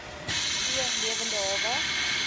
v lewende hawe